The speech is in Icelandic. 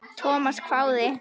Thomas hváði.